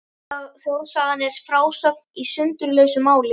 Þjóðsagan er frásögn í sundurlausu máli.